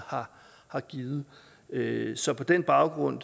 har givet givet så på den baggrund